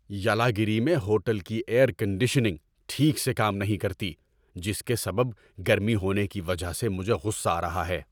یلاگیری میں ہوٹل کی air conditioning ٹھیک سے کام نہیں کرتی جس کے سبب گرمی ہونے کی وجہ سے مجھے غصہ آ رہا ہے۔